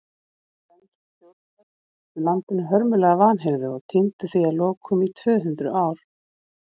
Dönsk stjórnarvöld sýndu landinu hörmulega vanhirðu og týndu því að lokum í tvö hundruð ár.